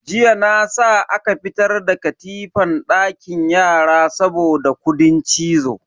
Jiya na sa aka fitar da katifan dakin yara saboda kudin cizo.